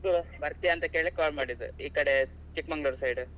ಇದು ಬರ್ತೀಯ ಅಂತ ಕೇಳಿಕ್ಕೆ call ಮಾಡಿದ್. ಈಕಡೆ ಚಿಕ್ಮಂಗ್ಳುರ್ side .